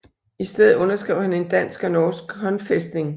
I stedet underskrev han en dansk og norsk håndfæstning